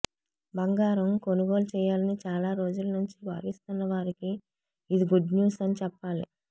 బంగారం కొనుగోలు చేయాలని చాలా రోజుల నుంచి భావిస్తున్న వారికి ఇది గుడ్ న్యూస్ అని చెప్పాలి